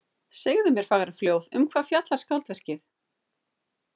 Segðu mér fagra fljóð, um hvað fjallar skáldverkið?